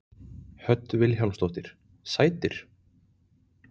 Hödd Vilhjálmsdóttir: Sætir?